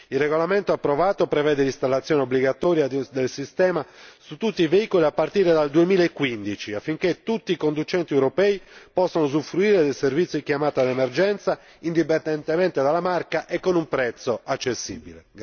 Il regolamento approvato prevede l'installazione obbligatoria del sistema su tutti i veicoli a partire dal 2015, affinché tutti i conducenti europei possano usufruire del servizio di chiamata d'emergenza indipendentemente dalla marca e con un prezzo accessibile.